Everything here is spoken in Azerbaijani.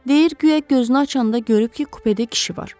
"Deyir, guya gözünü açanda görüb ki, kupedə kişi var.